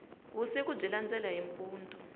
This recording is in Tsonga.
vusiku byi landela hi mpundzu